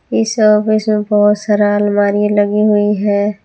इस ऑफिस में बहोत सारा अलमारी लगी हुई है।